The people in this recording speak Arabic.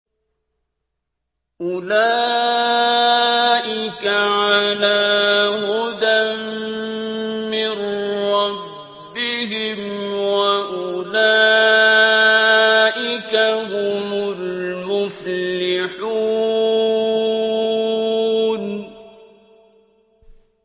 أُولَٰئِكَ عَلَىٰ هُدًى مِّن رَّبِّهِمْ ۖ وَأُولَٰئِكَ هُمُ الْمُفْلِحُونَ